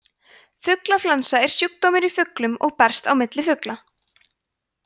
fuglaflensa er sjúkdómur í fuglum og berst á milli fugla